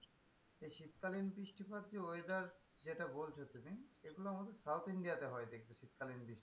শীতকালীন বৃষ্টিপাত যে weather যেটা বলছো তুমি এগুলো আমাদের south india হয় আমি দেখেছি শীতকালীন বৃষ্টি।